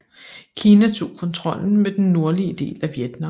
Kina tog kontrollen med den nordlige del af Vietnam